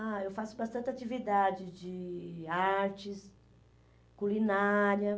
Ah, eu faço bastante atividade de artes, culinária.